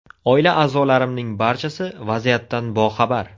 Oila a’zolarimning barchasi vaziyatdan boxabar.